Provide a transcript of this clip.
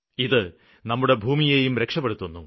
ഇത് നമ്മുടെ ഭൂമിയെയും രക്ഷപ്പെടുത്തുന്നു